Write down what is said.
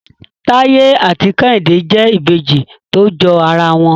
Taye ati kehinde jẹ Ìbejì to jọ ara wọn.